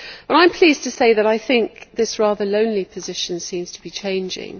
I am pleased to say that I think this rather lonely position seems to be changing.